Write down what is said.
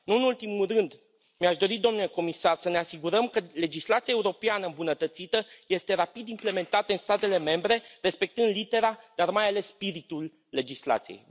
Nu în ultimul rând mi aș dori, domnule comisar, să ne asigurăm că legislația europeană îmbunătățită este rapid implementată în statele membre, respectând litera, dar, mai ales, spiritul legislației.